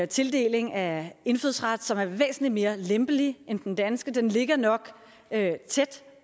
tildeling af indfødsret som er væsentlig mere lempelig end den danske den ligger nok tæt